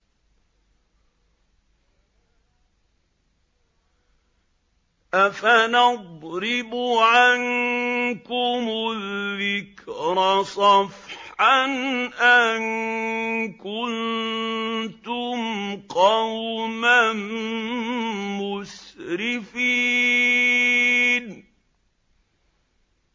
أَفَنَضْرِبُ عَنكُمُ الذِّكْرَ صَفْحًا أَن كُنتُمْ قَوْمًا مُّسْرِفِينَ